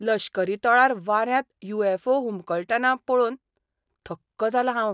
लश्करी तळार वाऱ्यांत यु. य़ॅफ. ओ. हुमकळटना पळोवन थक्क जालां हांव.पफईऊ